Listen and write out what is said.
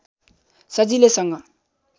सजिलैसँग पुन